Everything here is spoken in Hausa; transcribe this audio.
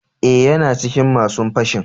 Eh, yana cikin masun fashin.